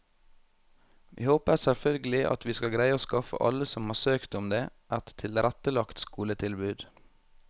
Vi håper selvfølgelig at vi skal greie å skaffe alle som har søkt om det, et tilrettelagt skoletilbud.